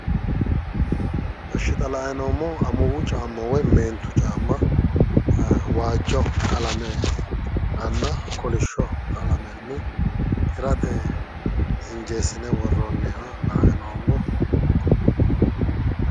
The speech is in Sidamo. Eshshi xa la'ayi noommohu amuwu caamma woyi meentu caamma waajjo qalame aana kolishsho qalamenni hirate injressine worroonniha la'anni noommo